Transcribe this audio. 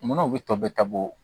Munna u bɛ tɔ bɛ tabɔ